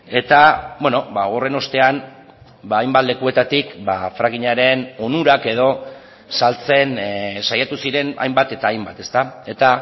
eta horren ostean hainbat lekuetatik frackingaren onurak edo saltzen saiatu ziren hainbat eta hainbat eta